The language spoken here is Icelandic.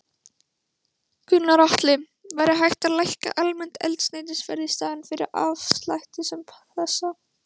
Gunnar Atli: Væri hægt að lækka almennt eldsneytisverð í staðinn fyrir afslætti sem þessa?